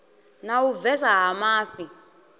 na u bvesa ha mafhi